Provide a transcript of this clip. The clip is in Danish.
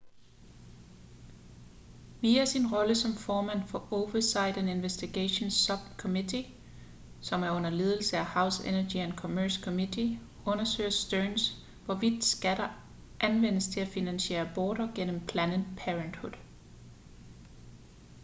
via sin rolle som formand for oversight and investigations subcommittee som er under ledelse af house energy and commerce committe undersøger stearns hvorvidt skatter anvendes til at finansiere aborter gennem planned parenthood